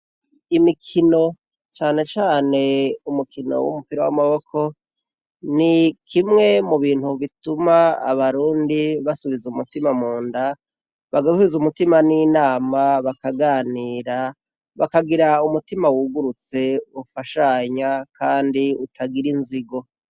Imikino canecane umukino w'umupira w'amaboko ni kimwe mu bintu bituma abarundi basubiza umutima mu nda bagasuize umutima n'inama bakaganira bakagira umutima wugurutse ufashanya, kandi utagira inzigo.